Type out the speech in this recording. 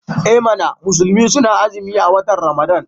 I mana! musulmai suna azumin watan Ramadan.